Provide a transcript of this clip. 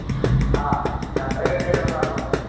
ആഹ് രണ്ടര കെട്ടിവെക്കണമെന്നു പറഞ്ഞു.